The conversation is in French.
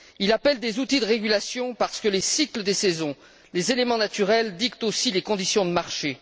Il appelle des outils de régulation, parce que les cycles des saisons, les éléments naturels dictent aussi les conditions du marché.